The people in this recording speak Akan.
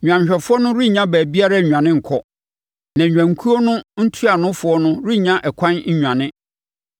Nnwanhwɛfoɔ no rennya baabiara nnwane nkɔ na nnwankuo no ntuanofoɔ no rennya ɛkwan nnwane.